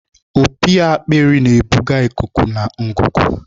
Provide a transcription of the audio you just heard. Opi akpịrị na-ebuga ikuku na ngụgụ.